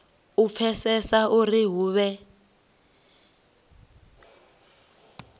u pfesesa uri u vhewa